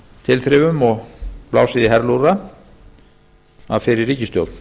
tilþrifum og blásið í herlúðra af fyrri ríkisstjórn